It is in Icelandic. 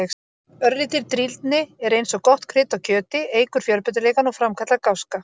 Örlítil drýldni er eins og gott krydd á kjöti, eykur fjölbreytileikann og framkallar gáska.